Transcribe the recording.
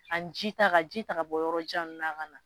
Ani jita ka ji ta ka bɔ yɔrɔ jan ninnu na